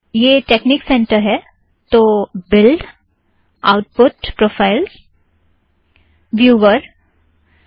यह technique centre है तो बिल्ड़ आउटपुट प्रोफ़ाइल को स्पष्ट करें और व्यूवर पर जाएं